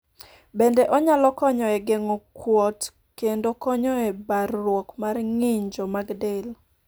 bende onyalo konyo e geng'o kuot kendo konyo e barruok mar ng'injo mag del